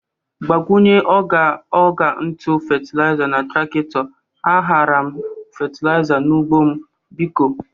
Gbakwunye ọgha ntụ fetelịza na trakitọ a ghara m fetelịza n'ụgbọ m, biko.